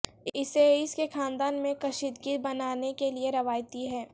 اسے اس کے خاندان میں کشیدگی بنانے کے لئے روایتی ہے